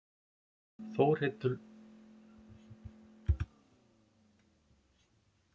Þórhildur Þorkelsdóttir: Og hvað þýðir þetta?